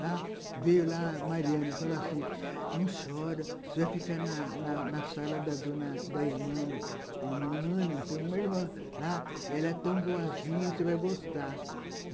Lá veio lá a Mariana e falou assim, não chora, você vai ficar na na na sala da dona, da irmã, irmã, Ana, uma irmã lá, e ela é tão boazinha, você vai gostar.